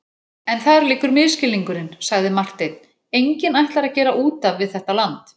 En þar liggur misskilningurinn, sagði Marteinn,-enginn ætlar að gera út af við þetta land.